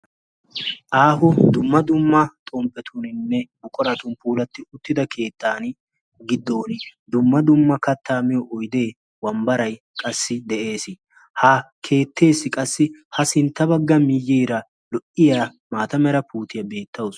Aaho dumma dumma xomppetuuninne buquratun puulatti uttida keettan giddon dumma dumma kattaa miyo oidee wambbarai qassi de'ees. ha keettees qassi ha sintta bagga miyyiera lo"iya maata mera puutiyaa beettawus.